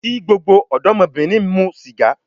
Ko gbogbo odomobirin mu siga